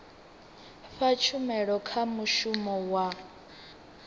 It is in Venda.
fha tshumelo kha mushumi wa